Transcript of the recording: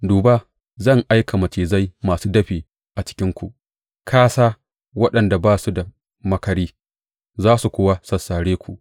Duba, zan aika macizai masu dafi a cikinku, kāsā, waɗanda ba su da maƙari, za su kuwa sassare ku,